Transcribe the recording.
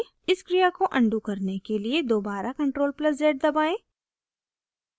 इस क्रिया को अनडू करने के लिए दोबारा ctrl + z दबाएं